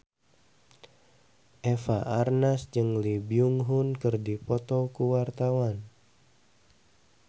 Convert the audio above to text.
Eva Arnaz jeung Lee Byung Hun keur dipoto ku wartawan